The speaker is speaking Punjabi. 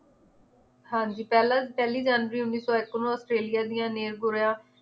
ਹਾਂਜੀ ਪਹਿਲਾਂ ਪਹਿਲੀ ਜਨਵਰੀ ਉੱਨੀ ਸੌ ਇੱਕ ਨੂੰ ਆਸਟ੍ਰੇਲੀਆ ਦੀਆਂ ਨੇਲਬੁਰ੍ਹੇਆ